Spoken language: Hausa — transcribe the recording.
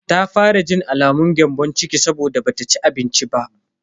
Ta fara jin alamun gyambon ciki saboda bata ci abinci ba.